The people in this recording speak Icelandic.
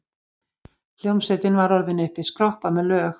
Hljómsveitin var orðin uppiskroppa með lög.